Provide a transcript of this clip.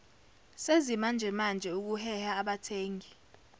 zesimanjemanje ukuheha abathengi